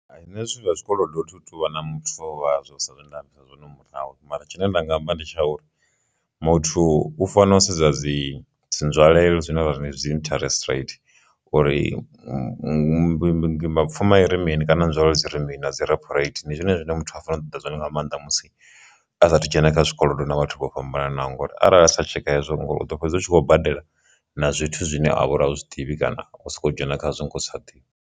Nṋe zwithu zwa zwikolodo thi tuvha muthu wazwo sa zwe nda ambisa zwone murahu mara tshine nda nga amba ndi tsha uri, muthu u fanela u sedza dzi dzi nzwalelo zwine ra ri ndi dzi interest rate uri mi mi mapfhuma iri mini kana nzwalelo dzi ri mini na dzi re na dzi reporate ndi zwone zwine muthu a fanelo ṱoḓa zwone nga maanḓa musi asathu dzhena kha zwikolodo na vhathu vho fhambanaho ngori arali a sa tsheka hezwo ngauri u ḓo fhedza hu tshi khou badela na zwithu zwine a vha uri au zwiḓivhi kana u soko dzhena khazwo nga u sa ḓivhi.